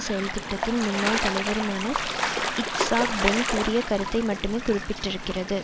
செயல்திட்டத்தின் முன்னாள் தலைவருமான Yitzhak Ben கூறிய கருத்தை மட்டுமே குறிப்பிட்டிருக்கிறது